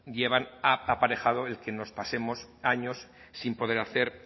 llevan aparejado el que nos pasemos años sin poder hacer